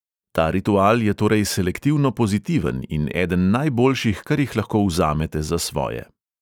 Ta ritual je torej selektivno pozitiven in eden najboljših, kar jih lahko vzamete za svoje.